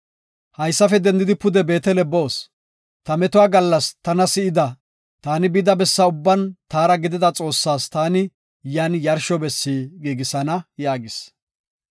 Haysafe dendidi pude Beetele boos. Ta metuwa gallas taw si7ida, taani bida bessa ubban taara gidida Xoossas taani yan yarsho bessi giigisana” yaagis.